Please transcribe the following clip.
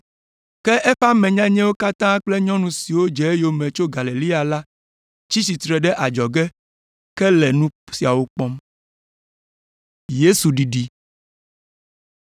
Ke eƒe ame nyanyɛwo katã kple nyɔnu siwo dze eyome tso Galilea la tsi tsitre ɖe adzɔge ke le nu siawo kpɔm.